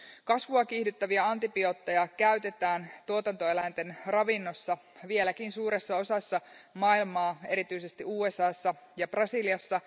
Kasvua kiihdyttäviä antibiootteja käytetään tuotantoeläinten ravinnossa vieläkin suuressa osassa maailmaa, erityisesti USAssa ja Brasiliassa.